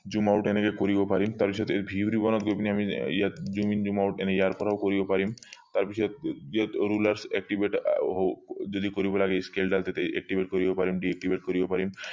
zoom out এনেকে কৰিব পাৰিম তাৰ পিছত view গৈ পিনি আমি ইয়াত zoom in zoom out ইয়াৰ পৰাও কৰিব পাৰিম তাৰ পিছত যদি কৰিব লাগে skill দাল তেতিয়া activate কৰিব পাৰিম deactivate কৰিব পাৰিম